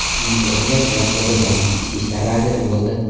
Uning o‘rniga Po‘lat Bobojonov ichki ishlar vaziri bo‘ldi .